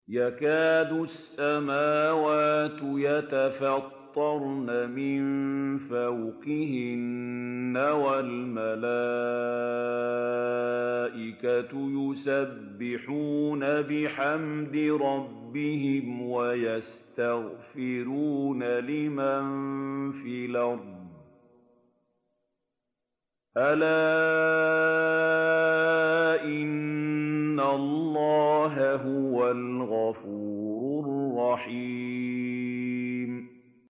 تَكَادُ السَّمَاوَاتُ يَتَفَطَّرْنَ مِن فَوْقِهِنَّ ۚ وَالْمَلَائِكَةُ يُسَبِّحُونَ بِحَمْدِ رَبِّهِمْ وَيَسْتَغْفِرُونَ لِمَن فِي الْأَرْضِ ۗ أَلَا إِنَّ اللَّهَ هُوَ الْغَفُورُ الرَّحِيمُ